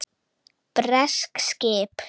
Bresk skip!